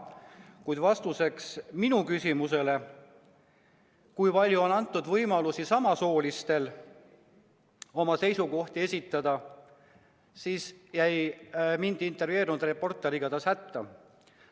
Kuid vastuseks minu küsimusele, kui palju on antud võimalusi oma seisukohti esitada, jäi mind intervjueerinud reporter igatahes hätta.